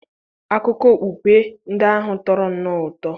akụkọ okpukpe ndị ahụ tọrọ nnọọ ụtọ.